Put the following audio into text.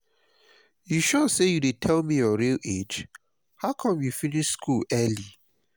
you sure say you dey tell me your real age? how come you finish school early?